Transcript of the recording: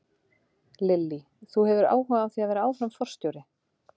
Lillý: Þú hefur áhuga á því að vera áfram forstjóri?